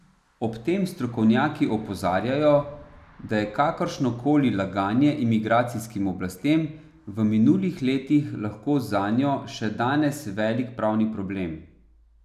Ob tem strokovnjaki opozarjajo, da je kakršno koli laganje imigracijskim oblastem v minulih letih lahko zanjo še danes velik pravni problem.